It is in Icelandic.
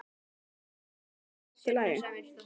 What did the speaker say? Kristján Már: Og ykkur finnst það bara allt í lagi?